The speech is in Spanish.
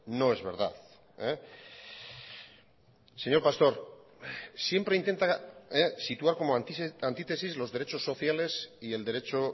no es verdad señor pastor siempre intenta situar como antitesis los derechos sociales y el derecho